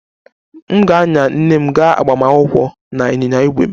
M ga-anya nne m gaa agbamakwụkwọ na ịnyịnya ígwè m